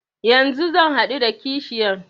Yanzu zan haɗu da kashiyan.